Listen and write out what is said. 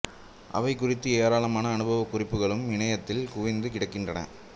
அவை குறித்த ஏராளமான அனுபவ குறிப்புகளும் இணையத்தில் குவிந்து கிடக்கின்றன